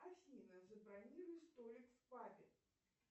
афина забронируй столик в пабе